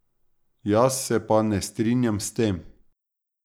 Jaz se pa ne strinjam s tem.